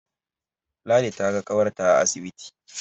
Ladi ta ga ƙawarta a asibiti